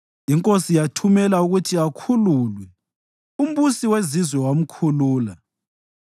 Inkosi yathumela ukuthi akhululwe, umbusi wezizwe wamkhulula.